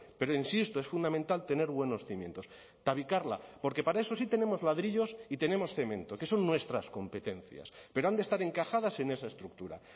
pero insisto es fundamental tener buenos cimientos tabicarla porque para eso sí tenemos ladrillos y tenemos cemento que son nuestras competencias pero han de estar encajadas en esa estructura